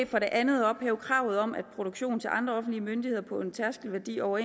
for det andet at ophæve kravet om at produktion til andre offentlige myndigheder på en tærskelværdi over